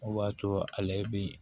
O b'a to ale bi